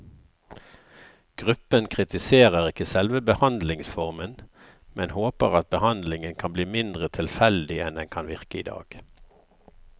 Gruppen kritiserer ikke selve behandlingsformen, men håper at behandlingen kan bli mindre tilfeldig enn den kan virke i dag.